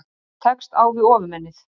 Tekst á við Ofurmennið